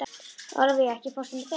Ólafía, ekki fórstu með þeim?